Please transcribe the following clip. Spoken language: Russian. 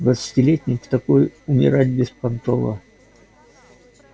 двадцатилетний в такой умирать беспонтово